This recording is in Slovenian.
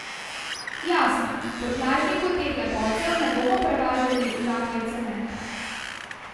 Jasno, v prtljažniku teh lepotcev ne bomo prevažali žakljev cementa.